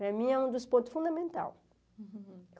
Para mim é um dos pontos fundamentais.